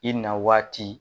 I na waati